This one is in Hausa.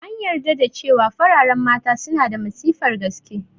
An yarda da cewa fararen Mata suna da matsifar gaske